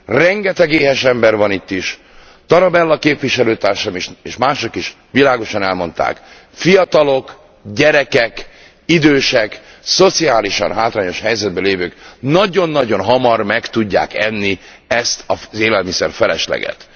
Rengeteg éhes ember van itt is. Tarabella képviselőtársam is és mások is világosan elmondták, fiatalok, gyerekek, idősek, szociálisan hátrányos helyzetben lévők nagyon nagyon hamar meg tudják enni ezt az élelmiszerfelesleget.